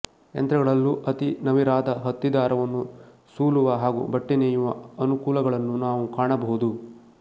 ಯಂತ್ರಗಳಲ್ಲೂ ಅತಿ ನವಿರಾದ ಹತ್ತಿದಾರವನ್ನು ಸೂಲುವ ಹಾಗೂ ಬಟ್ಟೆನೇಯುವ ಅನುಕೂಲಗಳನ್ನು ನಾವು ಕಾಣಬಹುದು